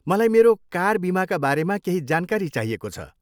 मलाई मेरो कार बिमाका बारेमा केही जानकारी चाहिएको छ।